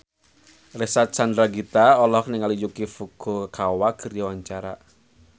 Reysa Chandragitta olohok ningali Yuki Furukawa keur diwawancara